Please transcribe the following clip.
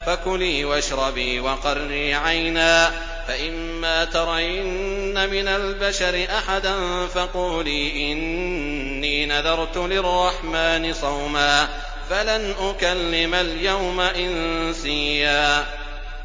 فَكُلِي وَاشْرَبِي وَقَرِّي عَيْنًا ۖ فَإِمَّا تَرَيِنَّ مِنَ الْبَشَرِ أَحَدًا فَقُولِي إِنِّي نَذَرْتُ لِلرَّحْمَٰنِ صَوْمًا فَلَنْ أُكَلِّمَ الْيَوْمَ إِنسِيًّا